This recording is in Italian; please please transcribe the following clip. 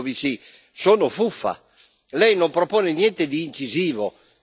Lei non propone niente di incisivo nella lotta ai paradisi fiscali.